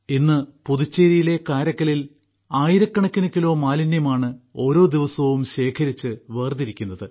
ഇന്ന് പുതുച്ചേരിയിലെ കാരയ്ക്കലിൽ ആയിരക്കണക്കിന് കിലോ മാലിന്യമാണ് ഓരോ ദിവസവും ശേഖരിച്ച് വേർതിരിക്കുന്നത്